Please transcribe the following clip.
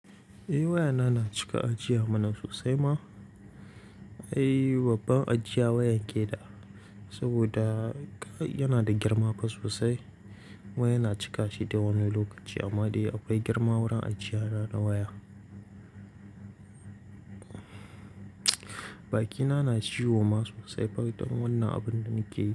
Eh wayana na cika ajiya mana sosai ma. Ai babban ajiya wayan ke da saboda yana da girma sosai. Kuma yana cikashi dai wani lokaci amma dai akwai girma wurin ajiya na waya Bakina na ciwo ma sosai bayan wannan abin da nake yi.